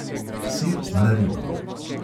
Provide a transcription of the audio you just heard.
Sir naribamo.